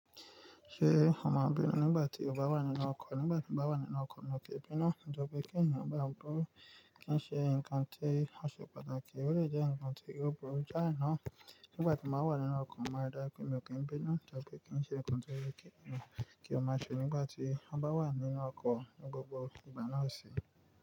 Ṣé o mọ̀ ọ́n bí nígbà tí ọba wà nínú ọkọ̀, nígbà tí ń bá wà nínú ọkọ̀ lọkẹ̀ bínú, lọkẹ̀ gbìn kí ènìyàn bá ọ gbọ́, kí ń ṣe ǹkan tí a ṣe pàtàkì, ọ̀ lè jẹ́ ǹkan tí yóò burú jáà náà. Nígbà tí mo wà nínú ọkọ̀, mo máa dá pé mi ò kí ń bínú, lọkẹ̀ kí ń ṣe ǹkan tó yẹ kí ènìyàn kí ó má ṣe nígbà tí ń bá wà nínú ọkọ̀ ní gbogbo ìgbà náà sì.